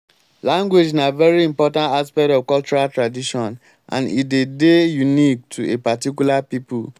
language na very important aspect of cultural tradition and e de dey unique to a particular people